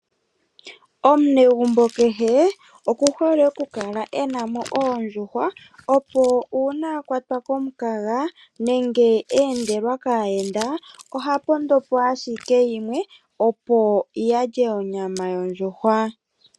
Omunegumbo kehe okuhole okukala enamo oondjuhwa opo uuna akwatwa komukaga nenge a endelwa kaayenda oha pondopo ashike yimwe opo alye onyama yondjuhwa